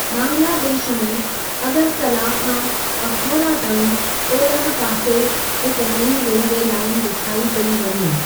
बांग्लादेश में अगरतला खां अखौरा ताईं ओलह पासे हिक नईं रेलवे लाइन विछाई पेई वञे।